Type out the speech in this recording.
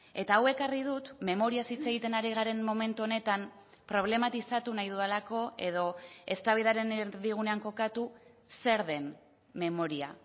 eta hau ekarri dut memoriaz hitz egiten ari garen momentu honetan problematizatu nahi dudalako edo eztabaidaren erdigunean kokatu zer den memoria